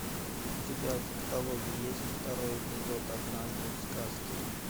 у тебя в каталоге есть второй эпизод однажды в сказке